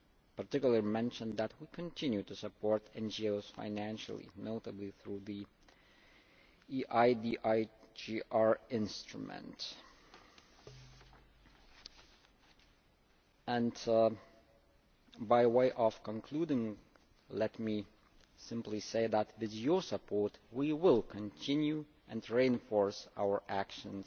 particularly to mention that we continue to support NGOs financially, notably through the EIDHR instruments. And by way of concluding, let me simply say that with your support we will continue to reinforce our actions